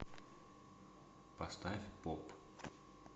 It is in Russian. поставь поп